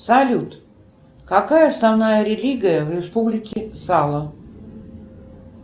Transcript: салют какая основная религия в республике сало